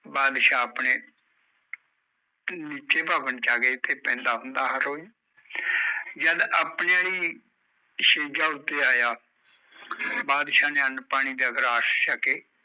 ਬਾਦਸ਼ਾਹ ਆਪਣੇ ਨੀਚੇ ਭਵਨ ਚ ਆਗਿਆ ਜਿੱਥੇ ਪੈਂਦਾ ਹੁੰਦਾ ਹਰ ਰੋਜ਼ ਜਦ ਆਪਣੇ ਆਲੀ ਸੇਜਾਂ ਉੱਤੇ ਆਇਆ ਬਾਦਸ਼ਾਹ ਨੇ ਅੰਨ ਪਾਣੀ ਦਾ ਗ੍ਰਾਸ ਛਕੇ